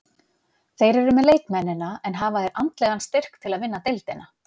Þeir eru með leikmennina, en hafa þeir andlegan styrk til að vinna deildina?